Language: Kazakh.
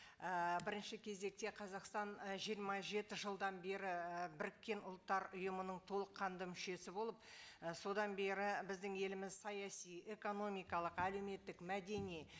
ііі бірінші кезекте қазақстан ы жиырма жеті жылдан бері біріккен ұлттар ұйымының толыққанды мүшесі болып і содан бері біздің еліміз саяси экономикалық әлеуметтік мәдени